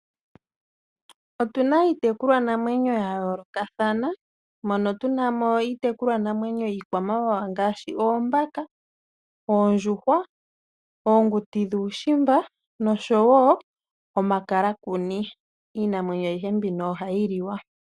Otu na iitekulwa namwenyo ya yoolokathana, mono tu na mo iitekulwa namwenyo yiikwamawawa ngaashi oombaka, oondjuhwa, oonguti dhuushimba nosho woo omakalakuni. Iinamwenyo ayihe mbino ohayi liwa.